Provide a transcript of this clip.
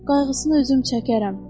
Qayğısını özüm çəkərəm.